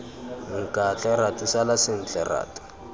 nkatle ratu sala sentle ratu